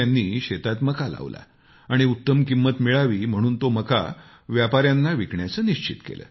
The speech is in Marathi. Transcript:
त्यानी शेतात मका लावला आणि उत्तम किंमत मिळावी म्हणून तो मका व्यापाऱ्यांना विकण्याचे निश्चित केले